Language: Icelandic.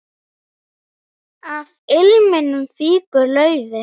Af liminu fýkur laufið.